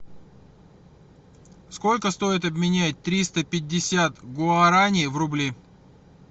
сколько стоит обменять триста пятьдесят гуарани в рубли